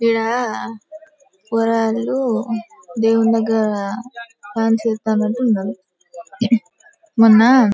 ఈడ పోరగాండ్లు దేవుని దగ్గర డాన్స్ వేస్తా నెట్టు ఉన్నారు. మొన్న--